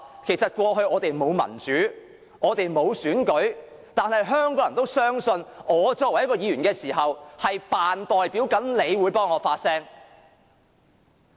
其實過去我們沒有民主、沒有真正的選舉，但是，香港人仍然相信，我作為議員，會擔當他們的代表，為他們發聲。